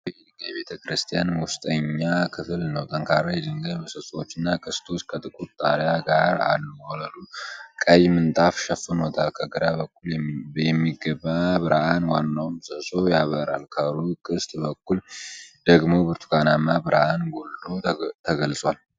ጥንታዊ የድንጋይ ቤተ-ክርስቲያን ውስጠኛ ክፍል ነው። ጠንካራ የድንጋይ ምሰሶዎችና ቅስቶች ከጥቁር ጣሪያ ጋር አሉ። ወለሉን ቀይ ምንጣፍ ሸፍኖታል። ከግራ በኩል የሚገባ ብርሃን ዋናውን ምሰሶ ያበራል። ከሩቅ ቅስት በኩል ደግሞ ብርቱካናማ ብርሃን ጎልቶ ተገልጿል።